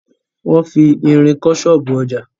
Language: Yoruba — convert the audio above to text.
Wọn fi irin kọ́ ṣọ́ọ̀bú ọjà.